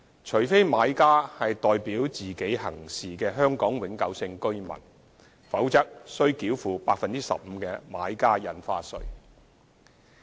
除非買家是代表自己行事的香港永久性居民，否則須繳付 15% 的買家印花稅。